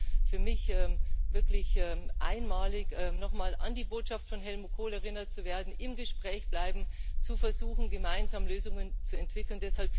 Es war für mich wirklich einmalig, noch mal an die Botschaft von Helmut Kohl erinnert zu werden Im Gespräch bleiben, versuchen, gemeinsam Lösungen zu entwickeln.